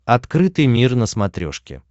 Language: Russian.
открытый мир на смотрешке